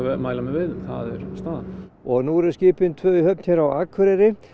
mæla með veiðum það er staðan og nú eru skipin tvö í höfn hér á Akureyri